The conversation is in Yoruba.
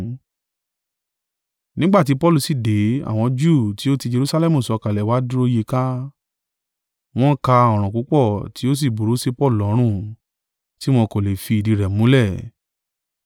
Nígbà tí Paulu sì dé, àwọn Júù tí o tí Jerusalẹmu sọ̀kalẹ̀ wá dúró yí i ká, wọ́n ǹ ka ọ̀ràn púpọ̀ tí ó sì burú sí Paulu lọ́rùn, tí wọn kò lè fi ìdí rẹ̀ múlẹ̀.